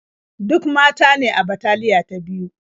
Duk mata ne a bataliya ta biyu.